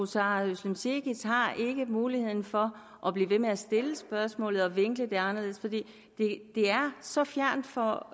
sara cekic har ikke muligheden for at blive ved med at stille spørgsmålet og vinkle det anderledes for det er så fjernt for